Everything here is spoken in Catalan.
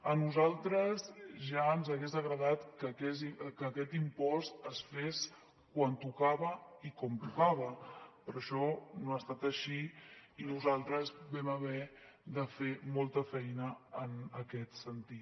a nosaltres ja ens hagués agradat que aquest impost es fes quan tocava i com tocava però això no ha estat així i nosaltres vam haver de fer molta feina en aquest sentit